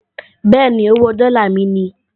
Bẹ́ẹ̀ni, owó dọ́là mi ni